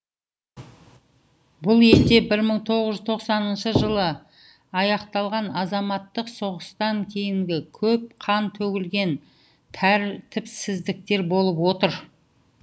бұл елде бір мығ тоғыз жүз тоқсаныншы жылы аяқталған азаматтық соғыстан кейінгі көп қан төгілген тәртіпсіздіктер болып отыр